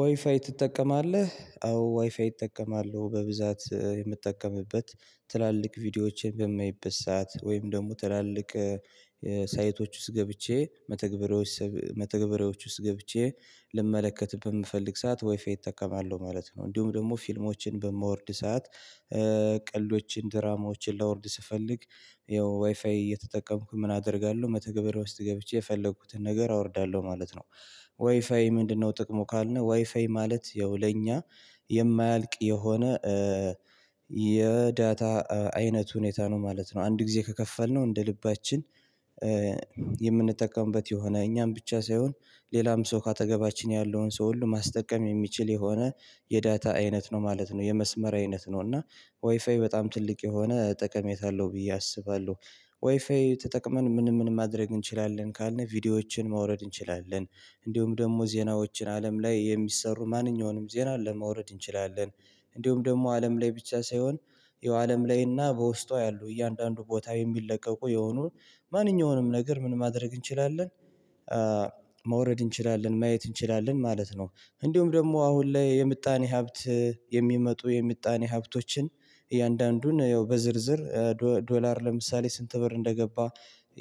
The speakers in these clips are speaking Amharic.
ዋይፋይ ትጠቀማለህ አዎ ዋይፋይ እጠቀማለሁ በብዛት የምጠቀምበት ትላልቅ ቪዲዮዎችን በማይበት ሰዓት ወይም ደግሞ ትላልቅ ሳይቶች ውስጥ ገብቼ መተግበሪያዎች መተግበሪያዎች ውስጥ ገብቼ ልመለከትብን የምፈልግ ሰዓት ዋይፈይ እጠቀማለሁ ማለት ነው። እንዲሁም ደግሞ ፊልሞችን በማወርድ ሰዓት ቀልዶችን ድራማዎችን ላወርድ ስፈልግ ያው ዋይፋይ እየተጠቀምኩ ምን አደርጋለሁ መተግበርያ ውስጥ ገብቼ የፈለኩትን ነገር አወርዳለሁ ማለት ነው። ዋይፋይ ምንድነው ጥቅሙ ካልነው ዋይፋይ ማለት ያው ለኛ የማያልቅ የሆነ የዳታ አይነት ሁኔታ ነው ማለት ነው። አንድ ጊዜ ከከፈልነው እንደ ልባችን የምንጠቀምበት የሆነ እኛም ብቻ ሳይሆን ሌላም ሰው ካጠገባችን ያለውን ሰው ሁሉ ማስጠቀም የሚችል የሆነ የዳታ አይነት ነው ማለት ነው። የመስመር አይነት ነው እና ወይፋይ በጣም ትልቅ የሆነ ጠቀሜታ አለሁ ብዬ አስባለሁ። ዋይፋይ ተጠቅመን ምንም ምንም ማድረግ እንችላለን ካልን ቪዲዮዎችን ማውረድ እንችላለን። እንዲሁም ደግሞ ዜናዎችን አለም ላይ የሚሰሩ ማንኛውንም ዜና ለመውረድ እንችላለን። እንዲሁም ደግሞ አለም ላይ ብቻ ሳይሆን የአለም ላይና በውስጧ ያሉ እያንዳንዱ ቦታ የሚለቀቁ የሆኑ ማንኛውንም ነገር ምን ማድረግ እንችላለን ማውረድ እንችላለን ማየት እንችላለን ማለት ነው። እንዲሁም ደግሞ አሁን ላይ የምጣኔ ሀብት የሚመጡ የምጣኔ ሀብቶችን እያንዳንዱን ያው በዝርዝር ዶላር ለምሳሌ ስንት ብር እንደገባ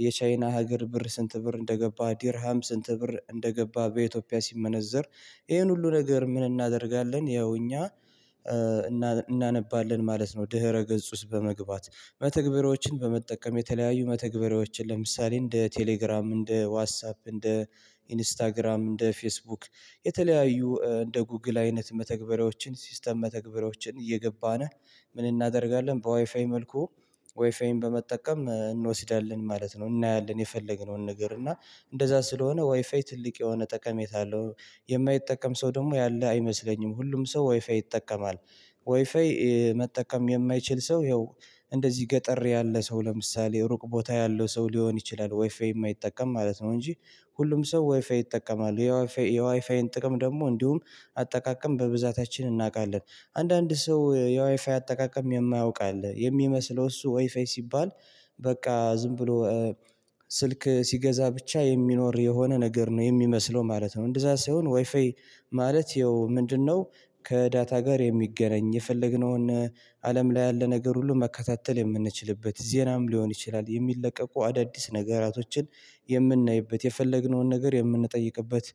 የቻይና ሀገር ብር ስንት ብር እንደገባ ድርሃም ስንት ብር እንደገባ በኢትዮጵያ ሲመነዘር። ይሄን ሁሉ ነገር ምን እናደርጋለን ያው እኛ እናነባለን ማለት ነው። ድህረ ገጽ ውስጥ በመግባት መተግበሪያዎችን በመጠቀም የተለያዩ መተግበሪያዎችን ለምሳሌ እንደ ቴሌግራም እንደ ዋትሳፕ እንደ ኢንስታግራም እንደ ፌስቡክ የተለያዩ እንደ ጉግል አይነት መተግበሪያዎችን ሲስተም መተግበሮችን እየገባን ምን እናደርጋለን በዋይፋይ መልኩ። ዋይፋይን በመጠቀም እንወስዳለን ማለት ነው እናያለን የፈለገነውን ነገር እና እንደዛ ስለሆነ ዋይ ፋይ ትልቅ የሆነ ጠቀሜታ አለው። የማይጠቀም ሰው ደግሞ ያለ አይመስለኝም ሁሉም ሰው ዋይፋይ ይጠቀማል። ዋይፋይ መጠቀም የማይችል ሰው ይኸው እንደዚህ ገጠር ያለ ሰው ለምሳሌ ሩቅ ቦታ ያለው ሰው ሊሆን ይችላል ዋይፈይ የማይጠቀም ማለት ነው። እንጂ ሁሉም ሰው ዋይፋይ ይጠቀማሉ የዋይፋይ የዋይፋይን ጥቅም ደግሞ እንዲሁም አጠቃቀም በብዛታችን እናውቃለን። አንዳንድ ሰው የዋይፋይ አጠቃቀም የማያውቅ አለ የሚመስለው እሱ ዋይፋይ ሲባል በቃ ዝም ብሎ ስልክ ሲገዛ ብቻ የሚኖር የሆነ ነገር ነው የሚመስለው ማለት ነው። እንደዛ ሳይሆን ዋይፋይ ማለት ይኸው ምንድነው? ከዳታ ጋር የሚገናኝ የፈለግነውን አለም ላይ ያለ ነገር ሁሉ መከታተል የምንችልበት ዜናም ሊሆን ይችላል የሚለቀቁ አዳዲስ ነገራቶችን የምናይበት የፈለግነውን ነገር የምንጠይቅበት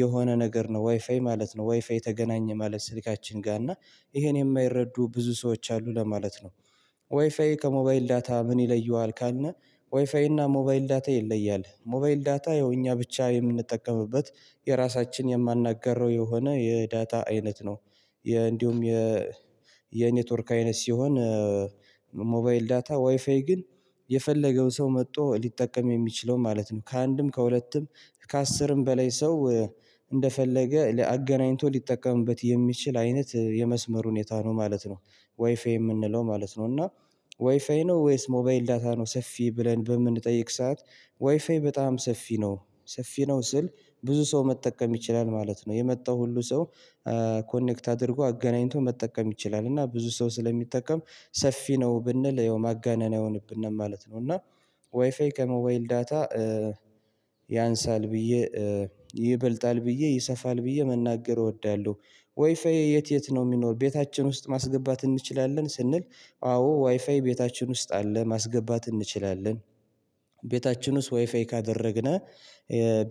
የሆነ ነገር ነው ዋይፋይ ማለት ነው። ዋይፋይ ተገናኘ ማለት ስልካችን ጋር እና ይሄን የማይረዱ ብዙ ሰዎች አሉ ለማለት ነው። ዋይፋይ ከሞባይል ዳታ ምን ይለየዋል ካልን? ዋይፋይ እና ሞባይል ዳታ ይለያል ሞባይል ዳታ የእኛ ብቻ የምንጠቀምበት የራሳችን የማናገረው የሆነ የዳታ አይነት ነው። እንዲሁም የ የኔትወርክ አይነት ሲሆን ዳታ ዋይፋይ ግን የፈለገው ሰው መጥቶ ሊጠቀም የሚችለው ማለት ነው ከአንድም ከሁለትም ከአስርም በላይ ሰው እንደፈለገ አገናኝቶ ሊጠቀምበት የሚችል አይነት የመስመር ሁኔታ ነው ማለት ነው። ዋይፋይ የምንለው ማለት ነው እና ዋይፋይ ነው ወይስ ሞባይል ዳታ ነው ሰፊ ብለን በምንጠይቅ ሰዓት? ዋይፋይ በጣም ሰፊ ነው ሰፊ ነው ስል ብዙ ሰው መጠቀም ይችላል ማለት ነው። የመጣው ሁሉ ሰው ኮኔክት አድርጎ አገናኝቶ መጠቀም ይችላል እና ብዙ ሰው ስለሚጠቀም ሰፊ ነው ብንል ያው ማጋነናው አይሆንብንም ማለት ነው። እና ዋይፋይ ከሞባይል ዳታ ያንሳል ብዬ ይበልጣል ብዬ ይሰፋል ብዬ መናገር እወዳለሁ። ዋይፋይ የት የት ነው የሚኖር ቤታችን ውስጥ ማስገባት እንችላለን ስንል? አዎ ዋይፋይ ቤታችን ውስጥ አለ ማስገባት እንችላለን። ቤታችን ውስጥ ዋይፈይ ካደረግነው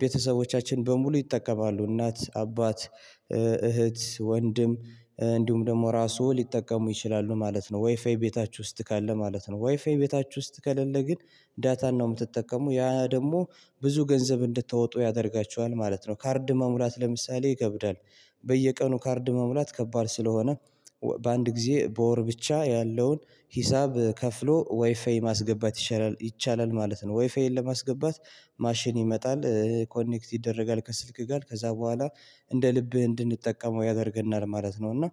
ቤተሰቦቻችን በሙሉ ይጠቀማሉ እናት አባት እህት ወንድም እንዲሁም ደግሞ ራሱ ሊጠቀሙ ይችላሉ ማለት ነው። ዋይፋይ ቤታችሁ ውስጥ ካለ ማለት ነው። ዋይፋይ ቤታችሁ ውስጥ ከሌለ ግን ዳታን ነው የምትጠቀሙ ያ ደግሞ ብዙ ገንዘብ እንድትወጡ ያደርጋቸዋል ማለት ነው። ካርድ መሙላት ለምሳሌ ይከብዳል። በየቀኑ ካርድ መሙላት ከባድ ስለሆነ በአንድ ጊዜ በወር ብቻ ያለውን ሂሳብ ከፍሎ ዋይፋይ ማስገባት ይቻላል ማለት ነው። ዋይፋይን ለማስገባት ማሽን ይመጣል ኮኔክት ይደረጋል ከስልክ ጋር ከዛ በኋላ እንደ ልብህ እንድንጠቀመው ያደርገናል ማለት ነው። እና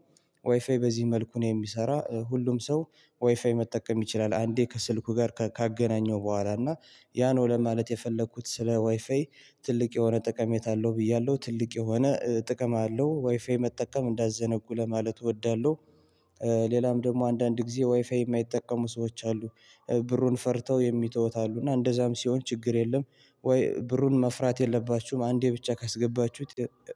ዋይፋይ በዚህ መልኩ ነው የሚሰራ ሁሉም ሰው። ዋይፋይ መጠቀም ይችላል አንዴ ከስልኩ ጋር ካገናኘው በኋላ እና ያ ነው ለማለት የፈለኩት ስለ ዋይፋይ። ትልቅ የሆነ ጠቀሜት አለው ብያለሁ ትልቅ የሆነ ጥቅም አለው ዋይፋይ መጠቀም እንዳትዘነጉ ለማለት እወዳለሁ። ሌላም ደግሞ አንዳንድ ጊዜ ዋይፋይ የማይጠቀሙ ሰዎች አሉ። ብሩን ፈርተው የሚተውት አሉ እና እንደዛም ሲሆን ችግር የለም። ወይ ብሩን መፍራት የለባችሁም አንዴ ብቻ ካስገባችሁት።